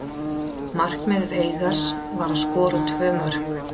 Markmið Veigars var að skora tvö mörk.